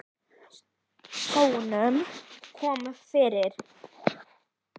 Skónum komið fyrir?